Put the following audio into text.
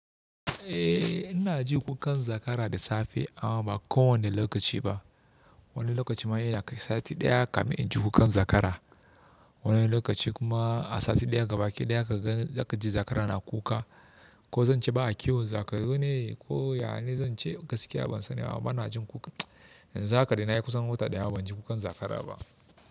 Eh ina ji kukan zakara da safe amma ba kowane lokaci ba. Wani lokaci ma ina kai sati ɗaya kafin in ji kukan zakara. Wani lokaci kuma a sati ɗaya gabaki ɗaya ka ga zakaji zakara na kuka. Ko zan ce ba a kiwon zakarune ko ya ne zan ce gaskiya ban sani ba. Amma ina jin kuka. Yanzu haka da nayi kusan wata ɗaya ban ji kukan zakara ba.